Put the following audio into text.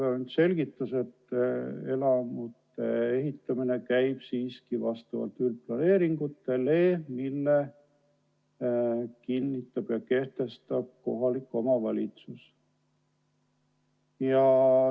Helve Hunt selgitas, et elamute ehitamine käib siiski vastavalt üldplaneeringutele, mille kehtestab kohalik omavalitsus.